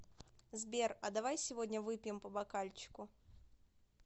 сбер а давай сегодня выпьем по бокальчику